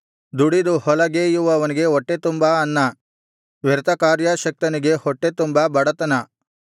ದುಡಿದು ಹೊಲಗೇಯುವವನಿಗೆ ಹೊಟ್ಟೆ ತುಂಬಾ ಅನ್ನ ವ್ಯರ್ಥ ಕಾರ್ಯಾಸಕ್ತನಿಗೆ ಹೊಟ್ಟೆತುಂಬಾ ಬಡತನ